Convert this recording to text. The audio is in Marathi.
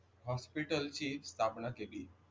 हॉस्पिटलची स्थापना केली.